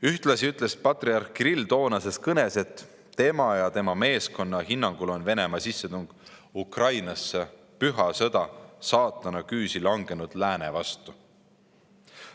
" Ühtlasi ütles patriarh Kirill toonases kõnes, et tema ja tema meeskonna hinnangul on Venemaa sissetung Ukrainasse püha sõda saatana küüsi langenud lääne vastu.